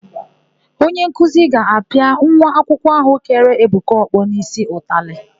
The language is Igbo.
Onyenkuzi ga-apịa nwa akwụkwọ áhụ̀ kere Ebuka ọkpọ n'ísí ụtalị.